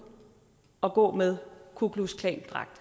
at gå med ku klux klan dragt